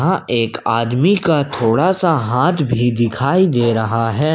यहां एक आदमी का थोड़ा सा हाथ भी दिखाई दे रहा है।